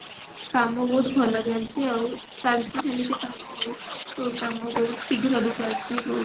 କାମ ବହୁତ ଭଲ ଚାଲିଛି ଆଉ ଚାଲିଛି ସେମିତି କାମ ଆଉ କାମ ବହୁତ ଶୀଘ୍ର ବି ଚାଲିଛି ବହୁତ